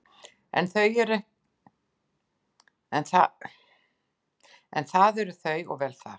En það eru þau og vel það.